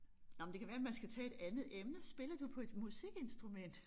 Nej men det kan være man skal tage et andet emne spiller du på et musikinstrument?